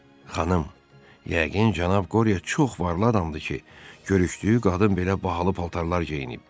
Xanım, yəqin cənab Qorya çox varlı adamdır ki, görüşdüyü qadın belə bahalı paltarlar geyinib.